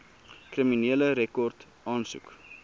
kriminele rekord aansoek